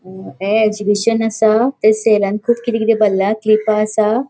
ये एक्सिबिशन असा ते सेलान खूप किते किते भरला क्लिपा असा.